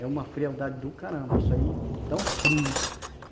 É uma frialdade do caramba, isso aí dá um frio.